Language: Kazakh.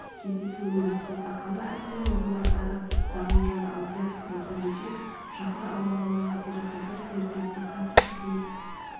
кездесу ұйымдастырды қала әкімінің орынбасары нағымжан алдияровтың сөзінше шаһар аумағындағы зиратқа бір серіктестік қана қызмет